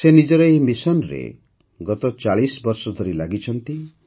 ସେ ନିଜର ଏହି ମିଶନରେ ଗତ ୪୦ ବର୍ଷ ଧରି ଲାଗିଛନ୍ତି